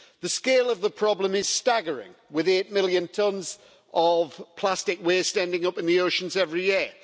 The scale of the problem is staggering, with eight million tons of plastic waste ending up in the oceans every year.